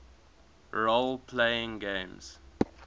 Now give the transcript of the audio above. role playing games